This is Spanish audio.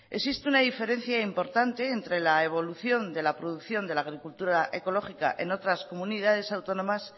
existe una diferencia importante entre la evolución de la producción de la agricultura ecológica en otras comunidades autónomas